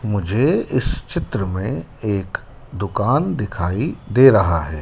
मुझे इस चित्र में एक दुकान दिखाई दे रहा है।